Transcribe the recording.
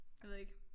Jeg ved ikke